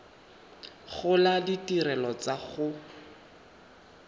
gola le ditirelo tsa go